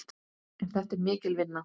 En þetta er mikil vinna.